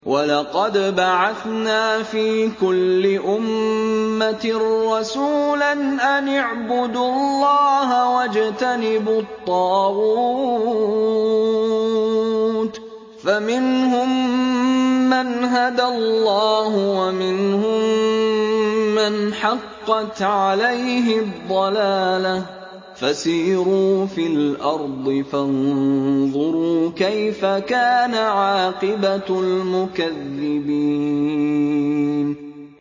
وَلَقَدْ بَعَثْنَا فِي كُلِّ أُمَّةٍ رَّسُولًا أَنِ اعْبُدُوا اللَّهَ وَاجْتَنِبُوا الطَّاغُوتَ ۖ فَمِنْهُم مَّنْ هَدَى اللَّهُ وَمِنْهُم مَّنْ حَقَّتْ عَلَيْهِ الضَّلَالَةُ ۚ فَسِيرُوا فِي الْأَرْضِ فَانظُرُوا كَيْفَ كَانَ عَاقِبَةُ الْمُكَذِّبِينَ